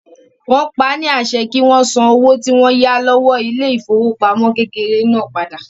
Wọ́n paá ní àṣẹ kí wọ́n san owó tí wọ́n yá lọ́wọ́ ilé ìfowópamọ́ kékeré náà padà